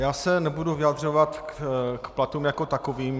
Já se nebudu vyjadřovat k platům jako takovým.